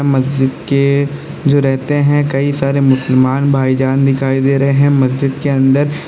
मस्जिद के जो रहते हैं कई सारे मुसलमान भाईजान दिखाई दे रहे हैं मस्जिद के अंदर।